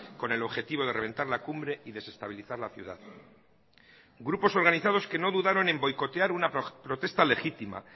con el objetivo de reventar la cumbre y desestabilizar la ciudad grupos organizados que no dudaron en boicotear una protesta legítima